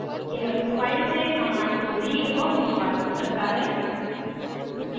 यह उस file से commands को reads और निष्पादित करता है